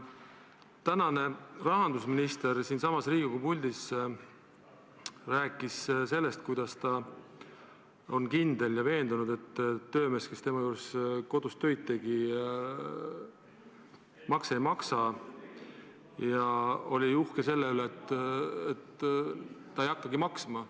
Tänane rahandusminister rääkis siinsamas Riigikogu puldis sellest, kuidas ta on kindel ja veendunud, et töömees, kes tema kodus tööd tegi, makse ei maksa, ja oli uhke selle üle, et ta ei hakkagi maksma.